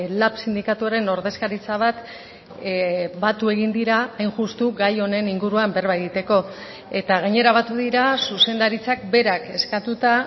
lab sindikatuaren ordezkaritza bat batu egin dira hain justu gai honen inguruan berba egiteko eta gainera batu dira zuzendaritzak berak eskatuta